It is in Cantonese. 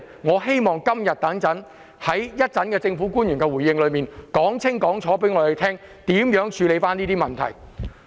我希望政府官員在今天稍後的回應時間，可以清楚告訴大家，將會如何處理這些問題。